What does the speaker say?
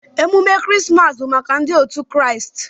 Emume krismas bu maka ndi otu kraist.